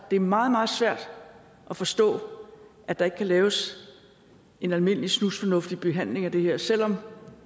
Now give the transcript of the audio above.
det er meget meget svært at forstå at der ikke kan laves en almindelig snusfornuftig behandling af det her selv om